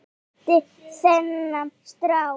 andi þennan strák.